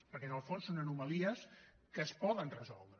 perquè en el fons són anomalies que es poden resoldre